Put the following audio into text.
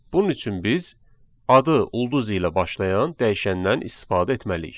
Bunun üçün biz adı ulduz ilə başlayan dəyişəndən istifadə etməliyik.